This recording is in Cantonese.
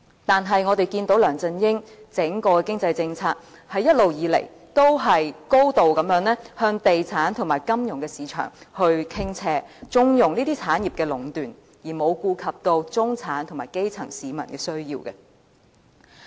但是，我們看到梁振英整個經濟政策，一直以來都是高度向地產及金融市場傾斜，縱容這些產業的壟斷，而沒有顧及中產和基層市民的需要。